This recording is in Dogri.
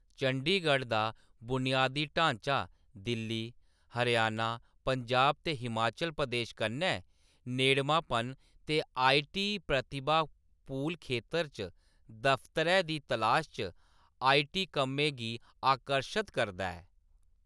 चंडीगढ़ दा बुनियादी ढांचा, दिल्ली, हरियाणा, पंजाब ते हिमाचल प्रदेश कन्नै नेड़मांपन, ते आई . टी . प्रतिभा पूल खेतर च दफ्तरै दी तलाश च आई . टी . कम्में गी आकर्शत करदा ऐ।